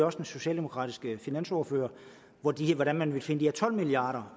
også den socialdemokratiske finansordfører hvordan hvordan man vil finde de her tolv milliard